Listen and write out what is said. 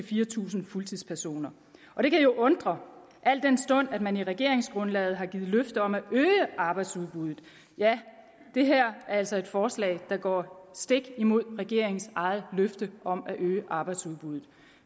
fire tusind fuldtidspersoner og det kan jo undre al den stund at man i regeringsgrundlaget har givet løfte om at øge arbejdsudbuddet ja det her er altså et forslag der går stik imod regeringens eget løfte om at øge arbejdsudbuddet